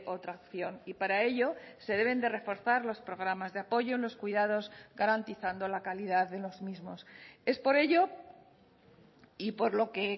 otra opción y para ello se deben de reforzar los programas de apoyo en los cuidados garantizando la calidad de los mismos es por ello y por lo que